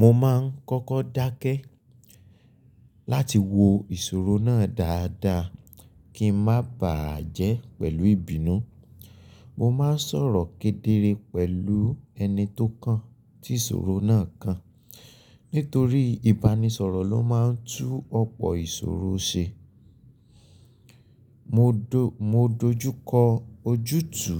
Mo máa ń kọ́kọ́ dákẹ́ láti wo ìṣòro náà dáadáa kí n má bà á jẹ́ pẹ̀lú ìbínú. Mo máa ń sọ̀rọ̀ kédere pẹ̀lú ẹni tó kàn tí ìṣòro náà kàn. Nítorí ìbánisọ̀rọ̀ ló máa ń tú ọ̀pọ̀ ìṣòro ṣe. Mo dojú kọ ojútù